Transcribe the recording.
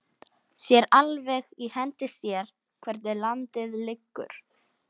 Sér alveg í hendi sér hvernig landið liggur.